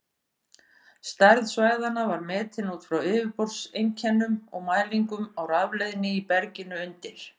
Stærð svæðanna var metin út frá yfirborðseinkennum og mælingum á rafleiðni í berginu undir.